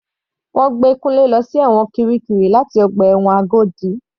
Wọ́n gbé Kunle lọ sí ẹ̀wọ̀n kirikiri láti ọgbà ẹ̀wọ̀n Agodi.